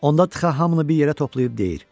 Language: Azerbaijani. Onda Txaa hamını bir yerə toplayıb deyir: